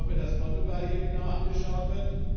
Ich hoffe, dass Portugal hier genau angeschaut wird.